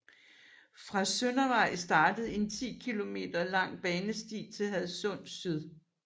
Fra Søndervej starter en 10 km lang banesti til Hadsund Syd